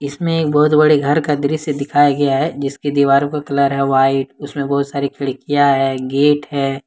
इसमें बहुत बड़े घर का दृश्य दिखाया गया है जिसकी दीवारों पर कलर है व्हाइट उसमें बहुत सारी खिड़कियां है गेट है।